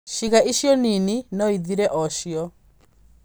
Ciĩga icio nini no ithire o cio.